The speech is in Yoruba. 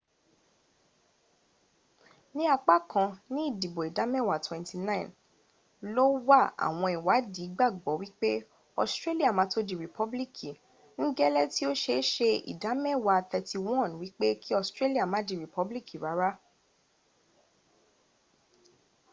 ní apá kan ní idìbo ìdámẹ́wa 29 ló wà àwọn ìwádí gbagbo wipe ọstrelia mato di ripobiliki n gẹ́lẹ́ ti o ṣeéṣe idamewa 31 wipe kí ostrelia ma di ripobiliki rara